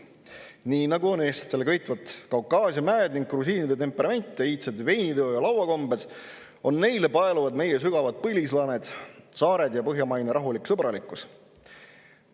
Nii nagu on eestlastele köitvad Kaukaasia mäed ning grusiinide temperament, iidsed veiniteo‑ ja lauakombed, paeluvad neid meie sügavad põlislaaned, saared ja põhjamaine rahulik sõbralikkus.